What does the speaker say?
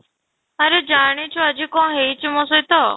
ଆରେ ଜାଣିଛୁ ଆଜି କଣ ହେଇଛି ମୋ ସହିତ?